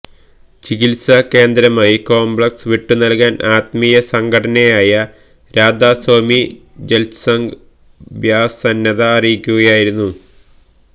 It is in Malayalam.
ചികിത്സാ കേന്ദ്രമായി കോംപ്ലക്സ് വിട്ടു നല്കാന് ആത്മീയ സംഘടനയായ രാധാ സോമി സത്സംഗ് ബ്യാസ് സന്നദ്ധത അറിയിക്കുകയായിരുന്നു